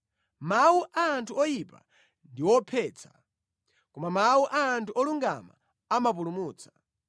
Mawu a anthu oyipa ndi ophetsa, koma mawu a anthu olungama amapulumutsa.